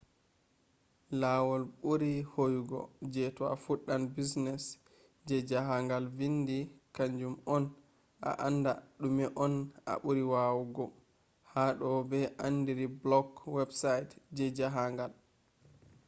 lawol ɓuri hoyugo je to a fuɗɗan business je jahangal vindi kanju on a anda ɗume on a ɓuri wawugo ha do ɓe andiri blog website je jahangal